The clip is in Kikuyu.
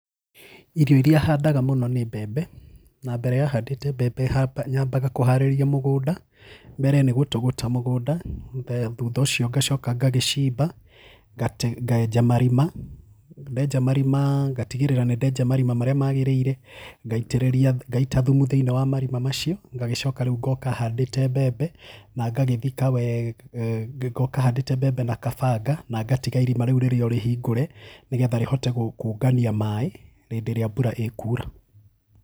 Irio irĩa handaga mũno nĩ mbembe, na mbere ya handĩte mbembe nyambaga kũharĩria mũgũnda. Mbere nĩ gũtũgũta mũgũnda, thutha ũcio ngacoka ngagĩcimba, ngenja marima, ndenja marima ngatigĩrĩra nĩ ndenja marima marĩa magĩrĩire, ngaitĩrĩria ngaita thumu thĩiniĩ wa marima macio, ngagĩcoka rĩu ngoka handĩte mbembe na ngagĩthika wega, ngoka handĩte mbembe na kabanga na ngatiga irima rĩu rĩrĩ orĩhingũre nĩgetha rĩhote kũngania maĩ hĩndĩ ĩrĩa mbura ĩkuura.